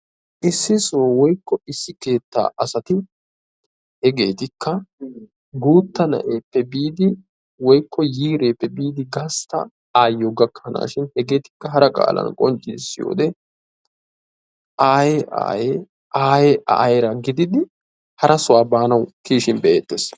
issi shooro woykko issi keettaa asati hegeetikka guutta na'eeppe biidi woykko issi qeeri yiireeppe biidi gasta asaa gakkanawu hegeettikka hara qaalan qonccisiyode ayye ayyera gididdi harasaa baanawu kiyishin be'eetees.